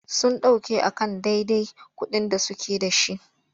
Sun ɗauke a kan dadai kuɗin da suke.da.shi.